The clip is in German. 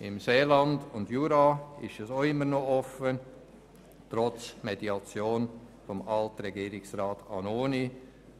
Im Seeland und im Jura ist es noch offen, trotz Mediation von Alt-Regierungsrat Annoni,